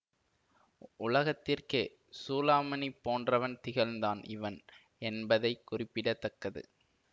உலகத்திற்கே சூளாமணி போன்றவன் திகழ்ந்தான் இவன் என்பதை குறிப்பிட தக்கது